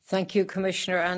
Thank you, Commissioner.